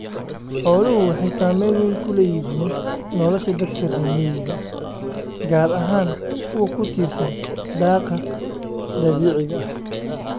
Xooluhu waxay saamayn weyn ku leeyihiin nolosha dadka reer miyiga ah, gaar ahaan kuwa ku tiirsan daaqa dabiiciga ah.